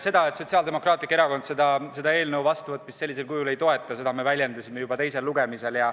Seda, et Sotsiaaldemokraatlik Erakond selle eelnõu vastuvõtmist sellisel kujul ei toeta, me väljendasime juba teisel lugemisel.